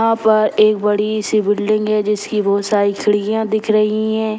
यहाँ पर एक बड़ी सी बिल्डिंग है जिसकी बहुत सारी खिड़कियाँ दिख रही हैं।